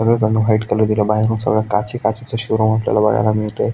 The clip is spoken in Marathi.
सगळी कडन व्हाइट कलर दिलाय बाहेरपण सगळा काची काची च शोरूम आपल्याला बघायला मिळतंय.